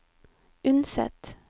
Unset